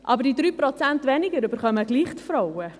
Aber diese 3 Prozent weniger erhalten trotzdem die Frauen.